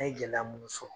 An ye gɛlɛya mun sɔrɔ